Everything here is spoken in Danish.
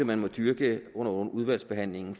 man må dyrke under udvalgsbehandlingen